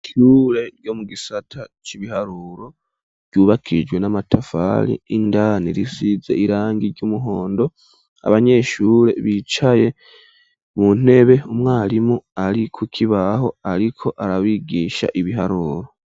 Ishure ryo mu gisata c'ibiharuro, ryubakishijwe n'amatafali indani risize irangi ry'umuhondo, abanyeshure bicaye mu ntebe ,umwarimu ari kuk'ibaho ariko arabigisha biharuro.